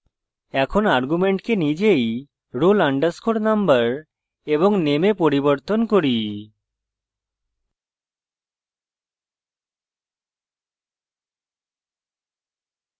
এখন arguments নিজেই roll _ number এবং name এ পরিবর্তন করি